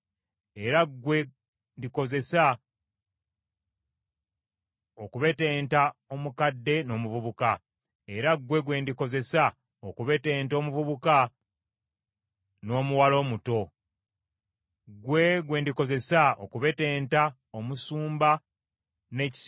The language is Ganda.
era ggwe gwe ndikozesa okubetenta omusajja n’omukazi, era ggwe ndikozesa okubetenta omukadde n’omuvubuka, era ggwe gwe ndikozesa okubetenta omuvubuka n’omuwala omuto.